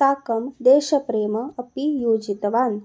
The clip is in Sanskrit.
साकं देशप्रेम अपि योजितवान्